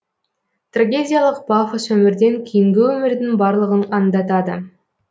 трагедиялық пафос өмірден кейінгі өмірдің барлығын аңдатады